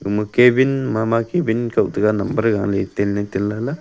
ama cabil ma ma cabil koh tega no gale tin le tin le la.